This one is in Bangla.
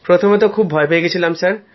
প্রথমে তো খুব ভয় পেয়ে গিয়েছিলাম